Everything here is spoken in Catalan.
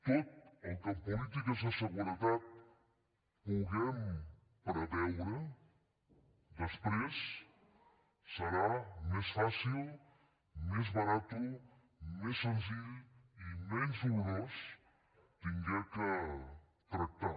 tot el que en polítiques de seguretat puguem preveure després serà més fàcil més barat més senzill i menys dolorós haver de tractar